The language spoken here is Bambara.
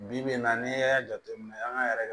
Bi bi in na n'i y'a jateminɛ an ka yɛrɛ